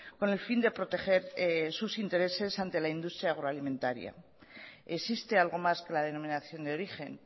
con el fin de proteger sus intereses ante la industria agroalimentaria existe algo más que la denominación de origen